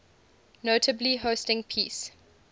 notably hosting peace